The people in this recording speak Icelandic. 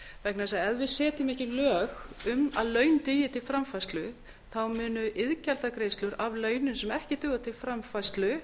vegna þess að ef við setjum ekki lög um að laun dugi til framfærslu munu iðgjaldagreiðslur af launum sem ekki duga til framfærslu